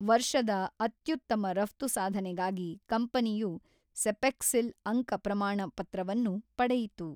ವರ್ಷದ ಅತ್ಯೂತ್ತಮ ರಪ್ತು ಸಾಧನೆಗಾಗಿ ಕಂಪನಿಯು ಸೆಪೆಕ್ಸಿಲ್ ಅಂಕ ಪ್ರಮಾಣಪತ್ರವನ್ನು ಪಡೆಯಿತು.